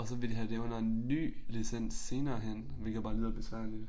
Og vil de have lave en ny licens senere hen hvilket bare lyder besværligt